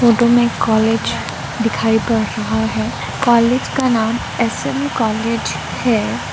Photo में एक college दिखाई पड़ रहा है कॉलेज का नाम एसएम कॉलेज है।